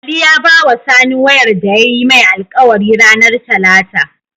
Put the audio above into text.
Ali ya bawa sani wayar da yayi mai alkawari ranar talata